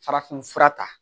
Farafinfura ta